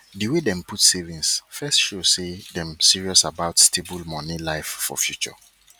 di way dem put savings first show say dem serious about stable money life for future